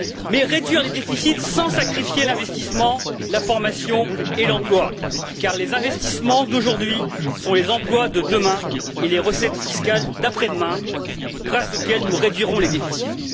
mais réduire les déficits sans sacrifier l'investissement, la formation et l'emploi, car les investissements d'aujourd'hui sont les emplois de demain et les recettes fiscales d'après demain, grâce auxquelles nous réduirons les déficits.